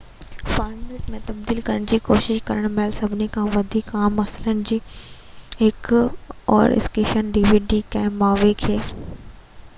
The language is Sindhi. ڪنهن مووي کي dvd فارميٽ ۾ تبديل ڪرڻ جي ڪوشش ڪرڻ مهل سڀني کان وڌيڪ عام مسئلن مان هڪ اوور اسڪين آهي